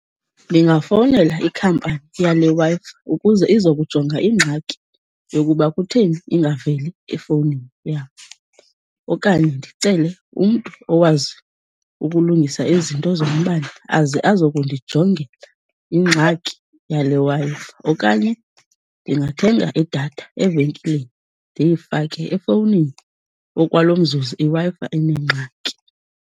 Ndingafowunela ikhampani yale Wi-Fi ukuze izokujonga ingxaki yokuba kutheni ingaveli efowunini yam okanye ndicele umntu owazi ukulungisa ezi zinto zombane aze azokundijongela ingxaki yale Wi-Fi. Okanye ndingathenga idatha evenkileni ndiyifake efowunini okwalo mzuzu iWi-Fi inengxaki.